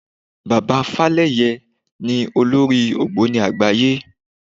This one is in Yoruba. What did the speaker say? Bàbá Fálẹ́yẹ ni olórí ògbóni àgbáyé.